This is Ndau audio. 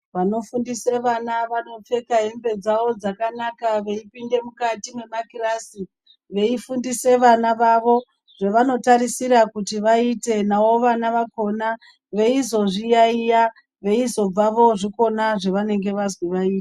Vanofundise vana vanopfeka hembe dzavo dzakanaka veipinde mukati mwemakirasi veifundise vana vavo zvevanotarisira kuti vaite. Navo vana vakhona veizozviyaiya, veizobva voozvikona zvevanenge vazwi vai...